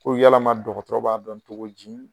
Ko yalama dɔgɔtɔrɔ b'a dɔn cogo di